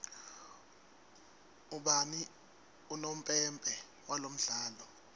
ubani unompempe walomdlalo